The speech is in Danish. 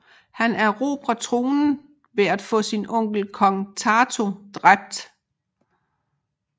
Han erobrede tronen ved at få sin onkel kong Tato dræbt